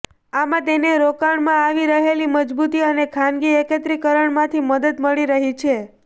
આમાં તેને રોકાણમાં આવી રહેલી મજબૂતી અને ખાનગી એકત્રીકરણમાંથી મદદ મળી રહી છે